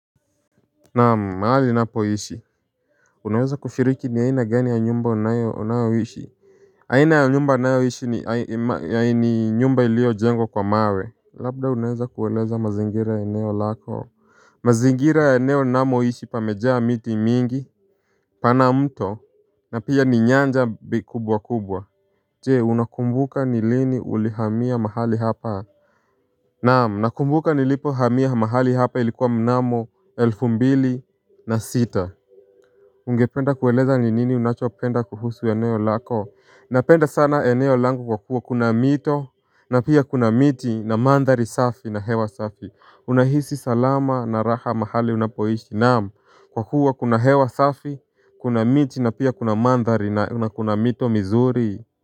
Naam mahali ninapo ishi Unaweza kufiriki ni aina gani ya nyumba unayo, unayoishi aina ya nyumba ninayoishi ni aina nyumba iliyo jengwa kwa mawe Labda unaweza kueleza mazingira ya eneo lako mazingira ya eneo namo ishi pamejaa miti mingi pana mto na pia ni nyanja kubwa kubwa Je unakumbuka ni lini ulihamia mahali hapa Naam nakumbuka nilipo hamia mahali hapa ilikuwa mnamo elfu mbili na sita Ungependa kueleza ni nini unachopenda kuhusu eneo lako Napenda sana eneo langu kwa kuwa kuna mito na pia kuna miti na mandhari safi na hewa safi Unahisi salama na raha mahali unapoishi Naam kwa kuwa kuna hewa safi Kuna miti na pia kuna mandhari na kuna mito mizuri.